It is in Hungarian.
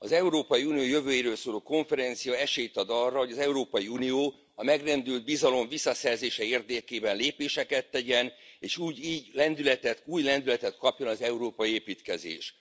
Az Európai Unió jövőjéről szóló konferencia esélyt ad arra, hogy az Európai Unió a megrendült bizalom visszaszerzése érdekében lépéseket tegyen, és így lendületet, új lendületet kapjon az európai építkezés.